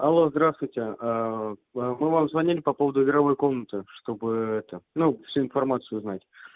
алло здравствуйте ээ мы вам звонили по поводу игровой комнаты чтобы это ну всю информацию узнать